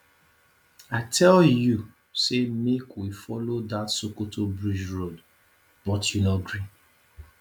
i tell you say make we follow dat sokoto bridge road but you no gree